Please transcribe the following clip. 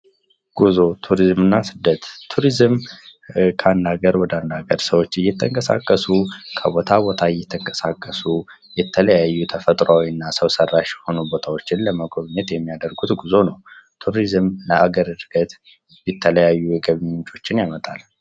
ጉዞ ቱሪዝምና ስደት ቱሪዝም ከሀገር ወደ አንድ ሀገር ሰዎች እየተንቀሳቀሱ ከቦታ ቦታ እየተንቀሳቀሱ የተለያዩና ፈጥሯዊ እና ሰው ሰራሽ የሆኑ ቦታዎችን ለመጎብኘት የሚያደርጉት ጉዞ ነው ::ቱሪዝም ለሀገር እድገት ለተለያዩ የገቢ ምንጮችን ያመጣል ::